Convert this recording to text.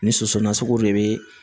Ni soso nasugu de be